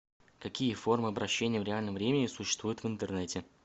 какие формы обращения в реальном времени существуют в интернете